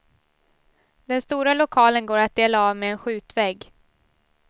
Den stora lokalen går att dela av med en skjutvägg.